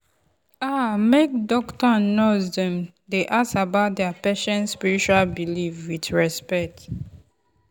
ah make doctor and nurse dem dey ask about their patient spiritual belief with respect.